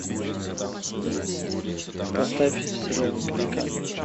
поставь сериал пеликан